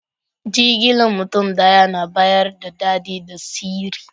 Jigilan mutum daya na bayars da dadi da sirri.